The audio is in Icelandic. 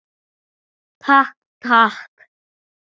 Takk, takk.